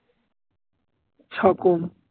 সকম